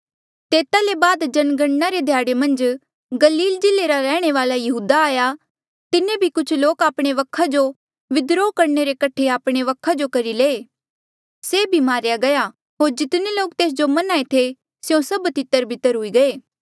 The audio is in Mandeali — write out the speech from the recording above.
तेता ले बाद जनगणना रे ध्याड़े मन्झ गलील जिल्ले रा रैहणे वाल्आ यहूदा आया तिन्हें भी कुछ लोक आपणे वखा जो विद्रोह करणे रे कठे आपणे वखा जो करी लये से भी मारेया गया होर जितने लोक तेस जो मन्हां ऐें थे स्यों सभ तितरबितर हुई गये